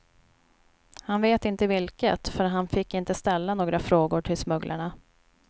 Han vet inte vilket, för han fick inte ställa några frågor till smugglarna.